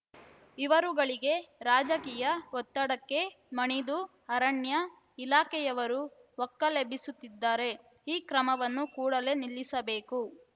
ಇವರುಗಳಿಗೆ ರಾಜಕೀಯ ಒತ್ತಡಕ್ಕೆ ಮಣಿದು ಅರಣ್ಯ ಇಲಾಖೆಯವರು ಒಕ್ಕಲೆಬ್ಬಿಸುತ್ತಿದ್ದಾರೆ ಈ ಕ್ರಮವನ್ನು ಕೂಡಲೇ ನಿಲ್ಲಿಸಬೇಕು